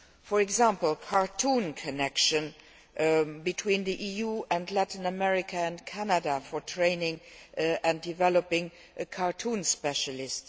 For example, a cartoon connection between the EU and Latin America and Canada for training and developing a cartoon specialist.